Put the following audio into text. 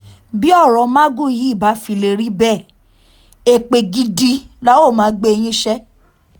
bí ọ̀rọ̀ magu yìí bá fi lè rí bẹ́ẹ̀ èpè gidi la óò máa gbé yín ṣe